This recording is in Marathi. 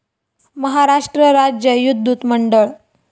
महाराष्ट्र राज्य विद्युत मंडळ